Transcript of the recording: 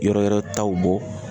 Yɔrɔ wɛrɛ taw bɔ